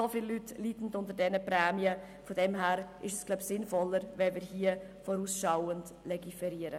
So viele Leute leiden unter diesen Prämien, sodass es wohl sinnvoller ist, wenn wir hier vorausschauend legiferieren.